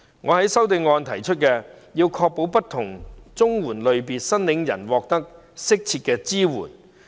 我在修正案提出，要確保不同綜援類別申領人獲得更適切的支援。